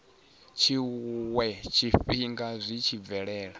tshiwe tshifhinga zwi tshi bvelela